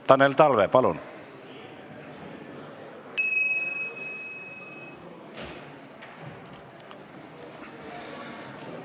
Tanel Talve, palun!